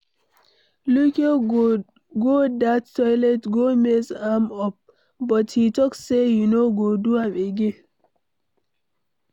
Luke go dat toilet go mess am up, but he talk say he no go do am again.